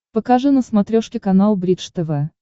покажи на смотрешке канал бридж тв